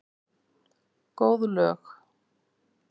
Góð lög.